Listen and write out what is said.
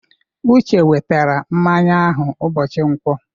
Uche wetara mmanya ahụ ụbọchị Nkwọ.